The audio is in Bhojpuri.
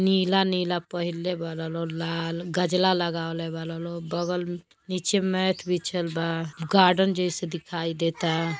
नीला-नीला पहिरले बाल लो लाल गजला लगवले बाल लो बगल म्-नीचे मैथ बिछल बा गार्डन जइसे दिखाई देता।